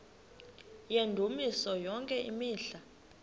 yendumiso yonke imihla